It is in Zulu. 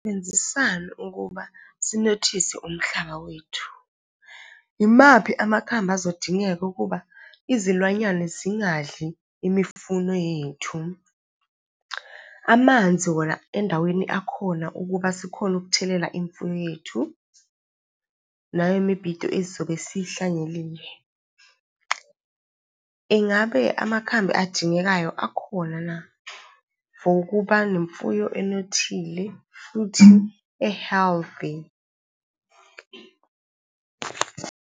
Singasebenzisani ukuba sinothise umhlaba wethu? Yimaphi amakhambi azodingeka ukuba izilwanyana zingadli imifuno yethu? Amanzi wona endaweni akhona ukuba sikhone ukuthelela imfuyo yethu nalemibhido esizobe . Ingabe amakhambi adingekayo akhona na, for ukuba nemfuyo anothile futhi e-healthy?